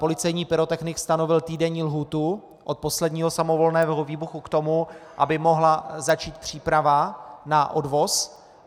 Policejní pyrotechnik stanovil týdenní lhůtu od posledního samovolného výbuchu k tomu, aby mohla začít příprava na odvoz.